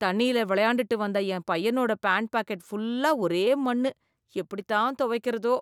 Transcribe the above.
தண்ணியில விளையாண்டுட்டு வந்த என் பையனோட பேண்ட் பாக்கெட் ஃபுல்லா ஒரே மண்ணு, எப்படி தான் துவைக்கிறதோ?